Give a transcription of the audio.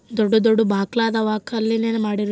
ದೊಡ್ಡ್ ದೊಡ್ಡ್ ಬಾಕ್ಲಾ ಅದವಾ ಕಲ್ಲಿನಿಂದ ಮಾಡಿರೋವು--